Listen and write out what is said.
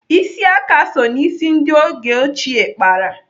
Ịsị aka so n'isi ndị oge ochie kpara.